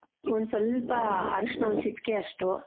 ಒಂದ್ ಸ್ವಲ್ಪ ಅರಶಿನ ಒಂದ್ ಚಿಟಿಕೆಯಷ್ಟು .